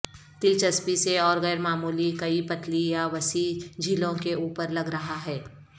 دلچسپی سے اور غیر معمولی کئی پتلی یا وسیع جھلیوں کے اوپر لگ رہا ہے